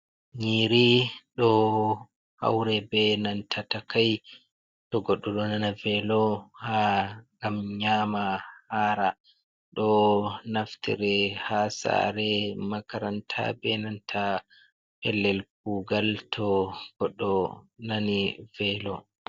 Nyiri ɗo haure be nanta takai to goɗɗo ɗo nana velo ha ngam nyama hara..Ɗo naftire ha sare, makaranta be nanta pellel kugal to goɗɗo nani velo.